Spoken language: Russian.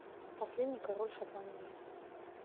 последний король шотландии